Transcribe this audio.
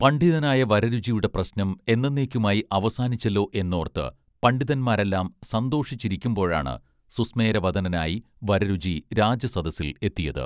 പണ്ഡിതനായ വരരുചിയൂടെ പ്രശ്നം എന്നന്നേക്കുമായി അവസാനിച്ചല്ലോ എന്നോർത്ത് പണ്ഡിതന്മാരെല്ലാം സന്തോഷിച്ചിരിക്കുമ്പോഴാണ് സുസ്മേരവദനനായി വരരുചി രാജസദസ്സിൽ എത്തിയത്